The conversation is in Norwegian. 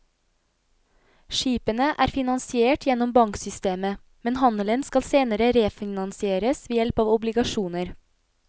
Skipene er finansiert gjennom banksystemet, men handelen skal senere refinansieres ved hjelp av obligasjoner.